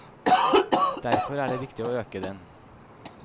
Derfor er det viktig å øke den.